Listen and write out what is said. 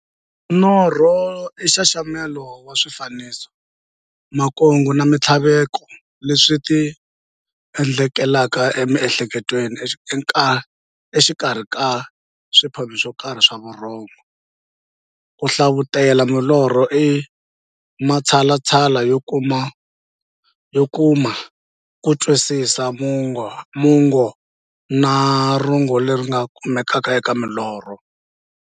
Norho i nxaxamelo wa swifaniso, makungu na minthlaveko leswi ti endlekelaka e mi'hleketweni exikarhi ka swiphemu swokarhi swa vurhongo. Ku hlavutela milorho i matshalatshala yo kuma kutwisisa mungo na rungula leri nga kumekaka eka milorho.